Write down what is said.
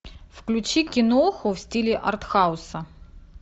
включи киноху в стиле артхауса